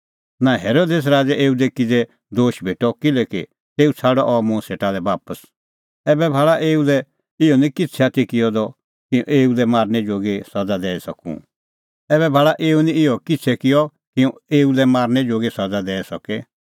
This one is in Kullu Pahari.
नां हेरोदेस राज़ै एऊ दी किज़ै दोश भेटअ किल्हैकि तेऊ छ़ाडअ अह मुंह सेटा लै बापस ऐबै भाल़ा एऊ निं इहअ किछ़ै किअ कि हुंह एऊ लै मारनै जोगी सज़ा दैई सके